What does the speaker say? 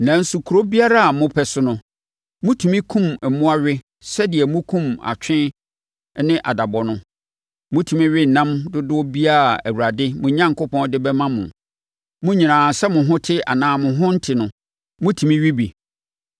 Nanso, kuro biara a mopɛ so no, motumi kum mmoa we sɛdeɛ mokum atwe ne adabɔ no. Motumi we ɛnam dodoɔ biara a Awurade, mo Onyankopɔn, de bɛma mo. Mo nyinaa, sɛ mo ho te anaa mo ho nte no, motumi we bi.